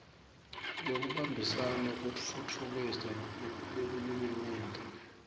bekubambisana kutfutfukisa bulwiminyenti